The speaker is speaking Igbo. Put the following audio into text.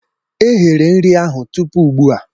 eghere nri ahụ tupu ugbu a